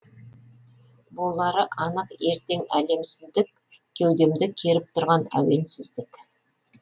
болары анық ертең әлем сіздік кеудемді керіп тұрған әуен сіздік